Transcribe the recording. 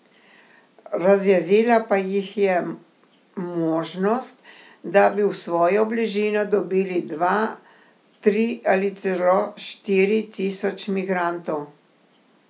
Razjezila pa jih je možnost, da bi v svojo bližino dobili dva, tri ali celo štiri tisoč migrantov.